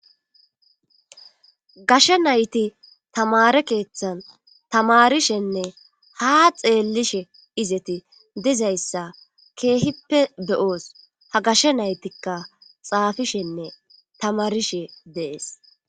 Gashe nayti tamare keeththan tamarishenne ha xeellishe izeti dizayssa keehippe beyoos ha gashshe naytikka xaafishenne tamarishe deees.